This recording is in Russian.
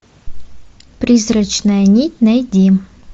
призрачная нить найди